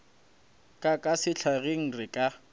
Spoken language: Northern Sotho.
ka ka sehlageng re ka